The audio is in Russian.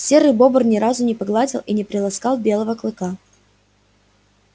серый бобр ни разу не погладил и не приласкал белого клыка